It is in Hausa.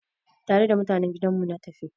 Tare da mutanen gidan mu na tafi.